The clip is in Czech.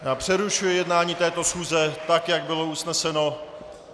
Přerušuji jednání této schůze tak, jak bylo usneseno.